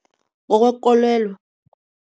Ngokwekolelo.